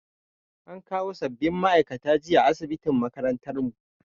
An kawo sabbin ma'aikatan jinya asibitin makarantar mu